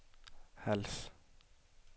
Hals